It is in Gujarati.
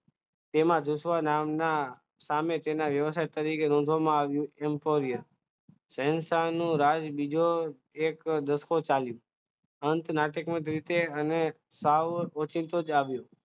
તેમાં ચુસવા નામના સામે તેના વ્યવસાય તરીકે ઓળખવામાં આવ્યું હતું રાજ બીજો એક દસ ચાલ્યો અંત નાટ્યાત્મક રીતે અને સાવ